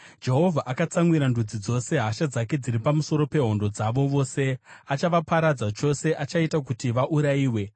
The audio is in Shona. Jehovha akatsamwira ndudzi dzose; hasha dzake dziri pamusoro pehondo dzavo dzose. Achavaparadza chose, achaita kuti vaurayiwe.